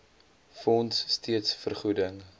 fonds steeds vergoeding